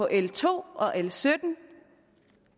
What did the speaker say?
l to og l sytten